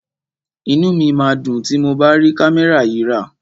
Inú mi máa dùn tí mo bá rí kámẹ́rà yìí rà.